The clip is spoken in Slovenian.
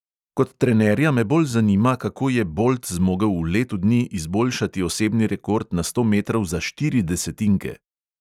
Kot trenerja me bolj zanima, kako je bolt zmogel v letu dni izboljšati osebni rekord na sto metrov za štiri desetinke.